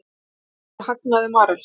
Dregur úr hagnaði Marels